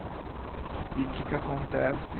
E que que acontece?